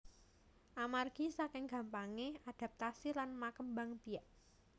Amargi saking gampangé adaptasi lan makembang biak